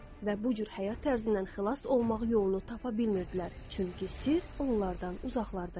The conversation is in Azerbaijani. Və bu cür həyat tərzindən xilas olmaq yolunu tapa bilmirdilər, çünki sirr onlardan uzaqlarda idi.